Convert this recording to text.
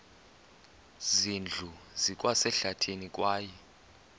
zindlu zikwasehlathini kwaye